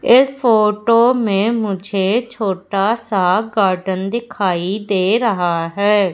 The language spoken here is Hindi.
ये फोटो में मुझे छोटा सा गार्डन दिखाई दे रहा है।